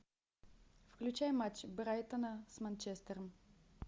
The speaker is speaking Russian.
включай матч брайтона с манчестером